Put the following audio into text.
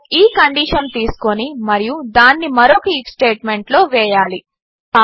మీరు ఈ కండీషన్ తీసుకొని మరియు దానిని మరొక ఐఎఫ్ స్టేట్మెంట్లో వేయాలి